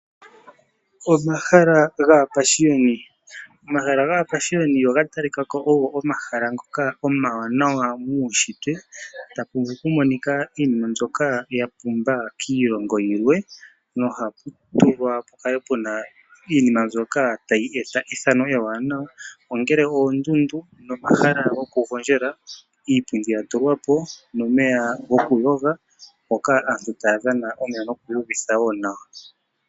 Omahala gapaashiyoni, omahala ngano oga tali kako omahala ngoka omawanawa muushitwe taku vulu oku monika iinima mbyoka yapumba kiilongo yilwe nohapu tulwa iinima mbyoka tayi eta ethano ewanawa nongele oondundu, omahala goku gondjela, iipundi ya tu lwapo nomeya goku yoga moka aantu taya dhana omeya noku iyu vitha nawa.